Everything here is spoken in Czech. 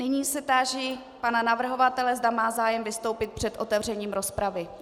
Nyní se táži pana navrhovatele, zda má zájem vystoupit před otevřením rozpravy.